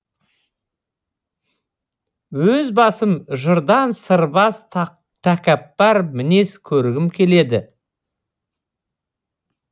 өз басым жырдан сырбаз такаппар мінез көргім келеді